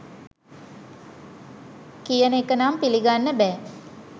කියන එක නම් පිළිගන්න බෑ